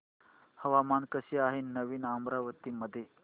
हवामान कसे आहे नवीन अमरावती मध्ये